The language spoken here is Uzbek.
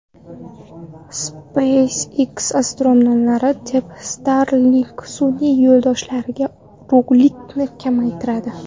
SpaceX astronomlarni deb Starlink sun’iy yo‘ldoshlaridagi yorug‘likni kamaytiradi.